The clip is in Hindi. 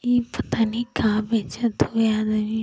ई पता नहीं का बेचत हवे आदमी।